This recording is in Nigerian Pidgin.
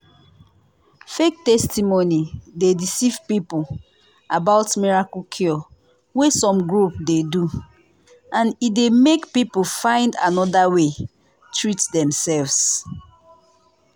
fake testimony dey deceive people about miracle cure wey some group dey do and e dey make people find another way treat demself.